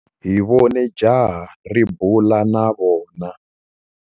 Hi vone jaha ri bula na vana.